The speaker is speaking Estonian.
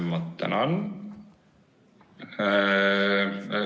Ma tänan!